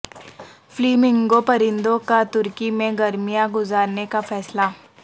flamingo پرندوں کا ترکی میں گرمیاں گزارنے کا فیصلہ